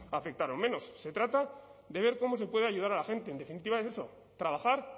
afectaron menos se trata de ver cómo se puede ayudar a la gente en definitiva es eso trabajar